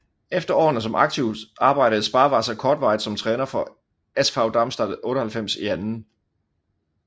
Efter årene som aktiv arbejdede Sparwasser kortvarigt som træner for SV Darmstadt 98 i 2